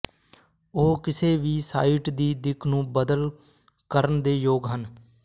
ਉਹ ਕਿਸੇ ਵੀ ਸਾਈਟ ਦੀ ਦਿੱਖ ਨੂੰ ਬਦਲ ਕਰਨ ਦੇ ਯੋਗ ਹਨ